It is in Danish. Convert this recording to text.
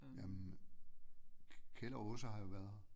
Jamen Kjeld og Åse har jo været her